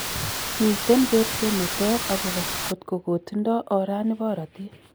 Miten kerset neter akobo kotkokotindo orani borotet